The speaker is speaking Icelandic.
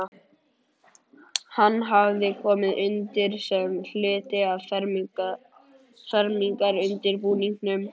Hann hafði komið undir sem hluti af fermingarundirbúningnum.